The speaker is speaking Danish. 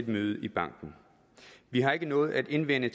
møde i banken vi har ikke noget at indvende